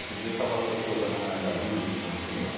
dia estava o assessor da Maira Gabili com a gente.